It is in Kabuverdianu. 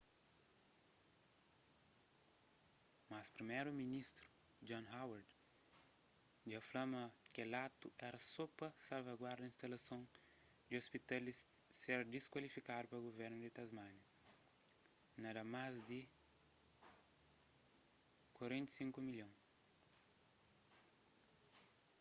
mas priméru-ministru john howard dja fla ma kel atu éra só pa salvaguarda instalason di ôspital di ser disklasifikadu pa guvernu di tasmánia na dá más di aud$45 milhon